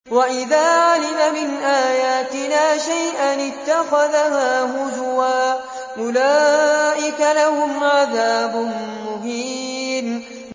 وَإِذَا عَلِمَ مِنْ آيَاتِنَا شَيْئًا اتَّخَذَهَا هُزُوًا ۚ أُولَٰئِكَ لَهُمْ عَذَابٌ مُّهِينٌ